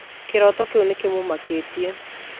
Kĩroto kĩu nĩ kĩmũmakĩtie.